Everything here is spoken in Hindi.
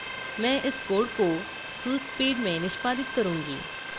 मैं इस code को fullspeed में निष्पादित करूँगी